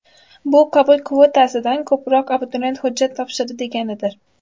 Bu qabul kvotasidan ko‘proq abituriyent hujjat topshirdi deganidir.